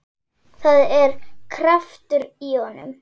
Það er kraftur í honum.